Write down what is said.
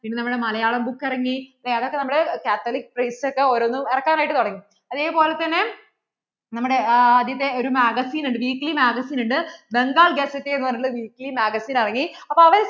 പിന്നേ നമ്മടെ മലയാളം book ഇറങ്ങി അല്ലേ അതൊക്കെ നമ്മുടെ Catholic priest ഒക്കേ ഓരോന്നും ഇറക്കാൻ ആയിട്ട് തുടങ്ങി അതേപോലെ തന്നേ നമ്മടെ ആദ്യത്തെ ഒരു magazine ഉണ്ട് weekly magazine ഉണ്ട് Bengal പറഞ്ഞിട്ട് ഉള്ള weekly magazine ഇറങ്ങി അപ്പോൾ